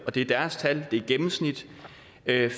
og det er deres tal det er et gennemsnit